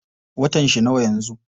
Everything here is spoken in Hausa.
Watan shi nawa yanzu?